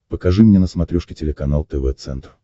покажи мне на смотрешке телеканал тв центр